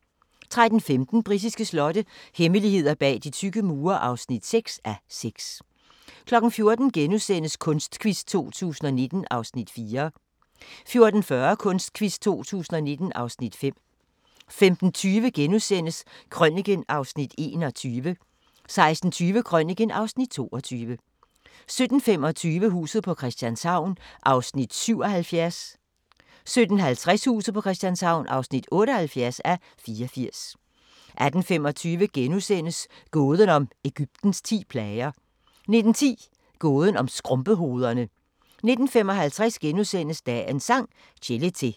13:15: Britiske slotte – hemmeligheder bag de tykke mure (6:6) 14:00: Kunstquiz 2019 (Afs. 4)* 14:40: Kunstquiz 2019 (Afs. 5) 15:20: Krøniken (Afs. 21)* 16:20: Krøniken (Afs. 22) 17:25: Huset på Christianshavn (77:84) 17:50: Huset på Christianshavn (78:84) 18:25: Gåden om Egyptens ti plager * 19:10: Gåden om skrumpehovederne 19:55: Dagens Sang: Chelete *